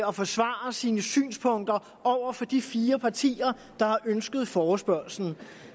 og forsvare sine synspunkter over for de fire partier der har ønsket denne forespørgsel